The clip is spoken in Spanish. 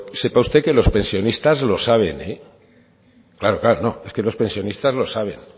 sepa usted que los pensionistas lo saben eh claro claro no es que los pensionistas lo saben